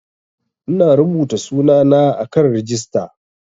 Ina rubuta sunana a kan rijista